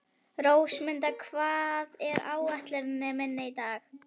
Rósmunda, hvað er á áætluninni minni í dag?